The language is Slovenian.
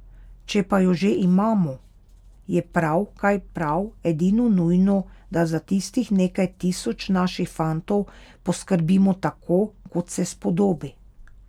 Če pa jo že imamo, je prav, kaj prav, edino nujno, da za tistih nekaj tisoč naših fantov poskrbimo tako, kot se spodobi.